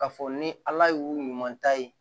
K'a fɔ ni ala y'u ɲuman ta ye